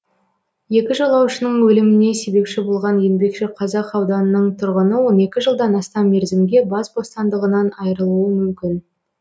екі жолаушының өліміне себепші болған еңбекшіқазақ ауданының тұрғыны он екі жылдан астам мерзімге бас бостандығынан айырылуы мүмкін